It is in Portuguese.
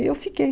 E eu fiquei.